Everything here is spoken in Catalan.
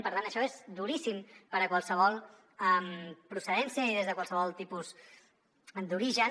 per tant això és duríssim per a qualsevol procedència i des de qualsevol tipus d’origen